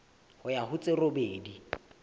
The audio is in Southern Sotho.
ho ya ho tse robedi